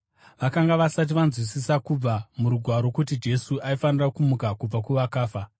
(Vakanga vasati vanzwisisa kubva muRugwaro kuti Jesu aifanira kumuka kubva kuvakafa.)